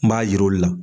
N b'a yir'u la